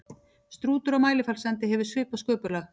Strútur á Mælifellssandi hefur svipað sköpulag.